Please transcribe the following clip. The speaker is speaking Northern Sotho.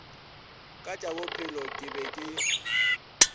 ka tšabophelo ke be ke